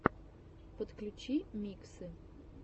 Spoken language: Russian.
подключи миксы